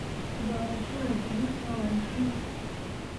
Doorashada digirta waa muhiim.